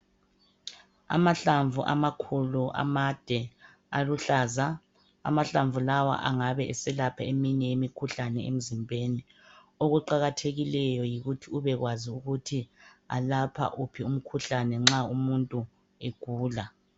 Amahlamvu amakhulu, amade, aluhlaza. Amahlamvu lawa angabe eselapha eminye imikhuhlane emzimbeni. Okuqakathekileyo yikuthi ubekwazi ukuthi elapha wuphi umkhuhlane, nxa umuntu egula.